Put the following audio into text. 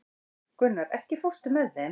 Gunnar, ekki fórstu með þeim?